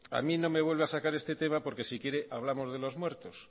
a mí no me vuelva a sacar este tema porque si quiere hablamos de los muertos